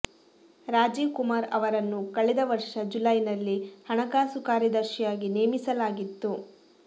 ರಾಜೀವ್ ಕುಮಾರ್ ಅವರನ್ನು ಕಳೆದ ವರ್ಷ ಜುಲೈನಲ್ಲಿ ಹಣಕಾಸು ಕಾರ್ಯದರ್ಶಿಯಾಗಿ ನೇಮಿಸಲಾಗಿತ್ತು